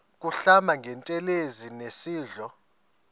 kuhlamba ngantelezi nasidlo